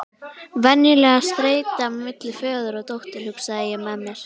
Venjuleg streita milli föður og dóttur, hugsaði ég með mér.